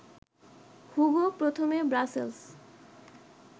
Hugo প্রথমে Brussels